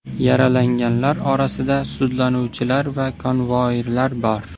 Yaralanganlar orasida sudlanuvchilar va konvoirlar bor.